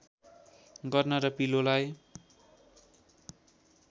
गर्न र पिलोलाई